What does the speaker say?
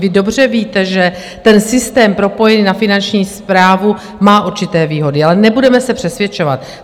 Vy dobře víte, že ten systém propojený na Finanční správu má určité výhody, ale nebudeme se přesvědčovat.